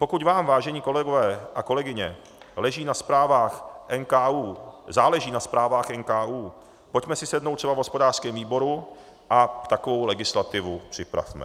Pokud vám, vážení kolegové a kolegyně, záleží na zprávách NKÚ, pojďme si sednout třeba v hospodářském výboru a takovou legislativu připravme.